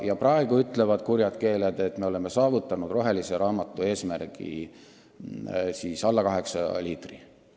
Ja praegu ütlevad kurjad keeled, et me oleme saavutanud rohelise raamatu eesmärgi alla 8 liitri elaniku kohta.